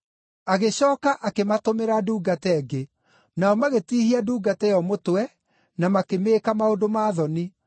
Agĩcooka akĩmatũmĩra ndungata ĩngĩ; nao magĩtiihia ndungata ĩyo mũtwe na makĩmĩĩka maũndũ ma thoni.